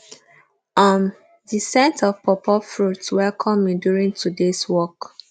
um the scent of pawpaw fruits welcome me during todays walk